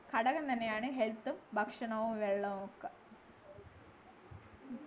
ഘടകം തന്നെയാണ് health ഭക്ഷണവും വെള്ളവുമൊക്കെ